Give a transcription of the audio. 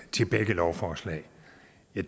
til begge lovforslag